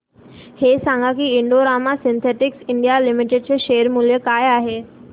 हे सांगा की Indo Rama Synthetics India Limited चे शेअर मूल्य काय आहे